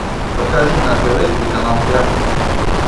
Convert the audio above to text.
покажи на тв телеканал театр